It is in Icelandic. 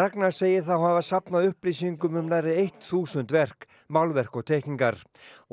Ragnar segir þá hafa safnað upplýsingum um nærri þúsund verk málverk og teikningar